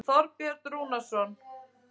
Þorbjörn Rúnarsson.